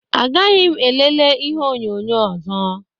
Agaghị m elele ihe onyonyo ọzọ.